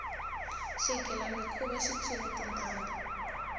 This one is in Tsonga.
xigilamikhuva xi tshwile tintambhu